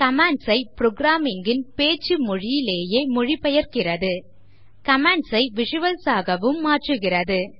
Commands ஐ programmer இன் பேச்சு மொழியிலேயே மொழி பெயர்கிறது commands ஐ விசுவல்ஸ் ஆகவும் மாற்றுகிறது